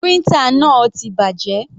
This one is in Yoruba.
Printer náà ti bàjẹ́.